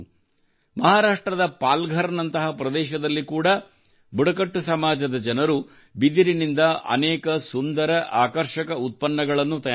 ಮಹಾರಾಷ್ಟ್ರದ ಪಾಲ್ಘರ್ ನಂತಹ ಪ್ರದೇಶದಲ್ಲಿ ಕೂಡಾ ಬುಡಕಟ್ಟು ಸಮಾಜದ ಜನರು ಬಿದಿರಿನಿಂದ ಅನೇಕ ಸುಂದರ ಆಕರ್ಷಕ ಉತ್ಪನ್ನಗಳನ್ನು ತಯಾರಿಸುತ್ತಾರೆ